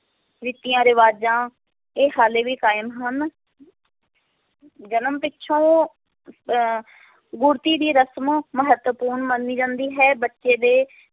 ਰੀਤੀਆਂ ਰਿਵਾਜਾਂ, ਇਹ ਹਾਲੇ ਵੀ ਕਾਇਮ ਹਨ ਜਨਮ ਪਿੱਛੋਂ ਅਹ ਗੁੜ੍ਹਤੀ ਦੀ ਰਸ਼ਮ ਮਹੱਤਵਪੂਰਨ ਮੰਨੀ ਜਾਂਦੀ ਹੈ, ਬੱਚੇ ਦੇ